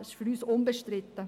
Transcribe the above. Das ist für uns unbestritten.